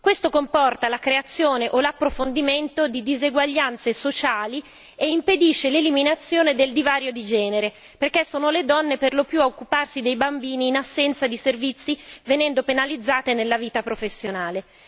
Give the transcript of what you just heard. Questo comporta la creazione o l'approfondimento di diseguaglianze sociali e impedisce l'eliminazione del divario di genere, perché sono le donne per lo più a occuparsi dei bambini in assenza dei servizi, venendo penalizzate nella vita professionale.